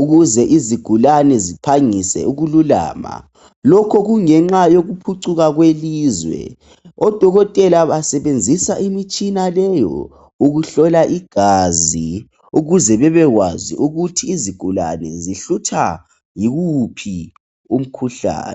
ukuze izigulane ziphangise ukululama lokho kungenxa yokuphucuka kwelizwe odokotela basebenzisa imitshina leyo ukuhlola igazi ukuze bebekwazi ukut izigulani zihlutshwa yiwuphi umkhuhlane